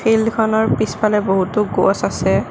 ফিল্ডখনৰ পিছফালে বহুতো গছ আছে।